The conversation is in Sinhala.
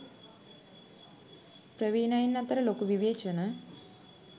ප්‍රවීනයින් අතර ලොකු විවේචන